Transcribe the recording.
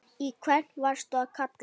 Í hvern varstu að kalla?